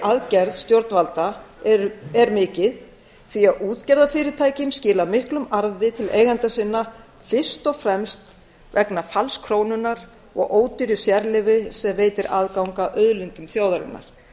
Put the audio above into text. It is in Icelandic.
aðgerð stjórnvalda er mikið því að útgerðarfyrirtækin skila miklum arði til eigenda sinna fyrst og fremst vegna falls krónunnar og ódýrs sérleyfis sem veitir aðgang að auðlindum þjóðarinnar